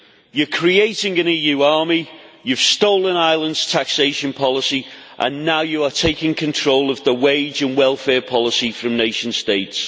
You are creating an EU army, you have stolen Ireland's taxation policy and now you are taking control of the wage and welfare policy from nation states.